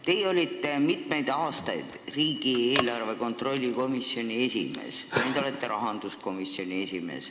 Te olite mitmeid aastaid riigieelarve kontrolli komisjoni esimees, nüüd olete rahanduskomisjoni esimees.